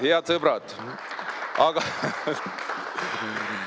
Head sõbrad!